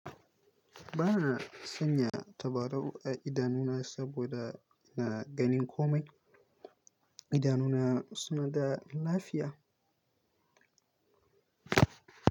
Ba na sanya tabarau a idanuna saboda ina ganin komai. Idanuna suna da lafiya.